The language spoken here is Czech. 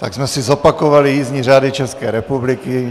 Tak jsme si zopakovali jízdní řády České republiky.